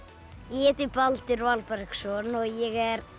ég heiti Baldur Valbergsson og ég er